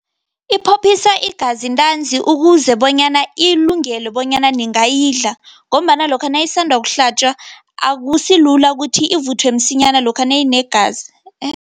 Iphophisa igazi ntanzi, ukuze bonyana ilungele bonyana ningayidla, ngombana lokha nayisanda kuhlatjwa, akusilula ukuthi ivuthwe msinyana lokha nayinegazi.